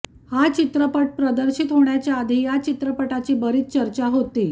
हा चित्रपट प्रदर्शित होण्याच्या आधी या चित्रपटाची बरीच चर्चा होती